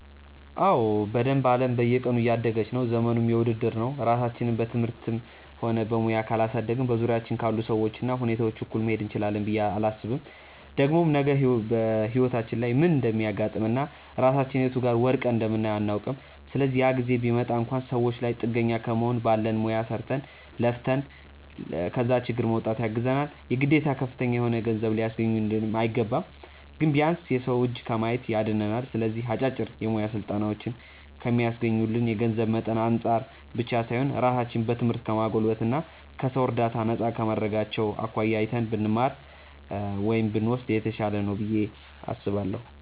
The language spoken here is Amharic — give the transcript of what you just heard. አዎ በደንብ። አለም በየቀኑ እያደገች ነው፤ ዘመኑም የውድድር ነው። ራሳችንን በትምህርትም ሆነ በሙያ ካላሳደግን በዙሪያችን ካሉ ሰዎች እና ሁኔታዎች እኩል መሄድ እንችላለን ብዬ አላስብም። ደግሞም ነገ በህይወታችን ላይ ምን እንደሚያጋጥመን እና ራሳችንን የቱ ጋር ወድቀን እንደምናየው አናውቅም። ስለዚህ ያ ጊዜ ቢመጣ እንኳን ሰዎች ላይ ጥገኛ ከመሆን ባለን ሙያ ሰርተን፣ ለፍተን ከዛ ችግር ለመውጣት ያግዘናል። የግዴታ ከፍተኛ የሆነ ገንዘብ ሊያስገኙልን አይገባም። ግን ቢያንስ የሰው እጅ ከማየት ያድነናል። ስለዚህ አጫጭር የሙያ ስልጠናዎችን ከሚስገኙልን የገንዘብ መጠን አንፃር ብቻ ሳይሆን ራሳችንን በትምህርት ከማጎልበት እና ከሰው እርዳታ ነፃ ከማድረጋቸው አኳያ አይተን ብንማር (ብንወስድ) የተሻለ ነው ብዬ አስባለሁ።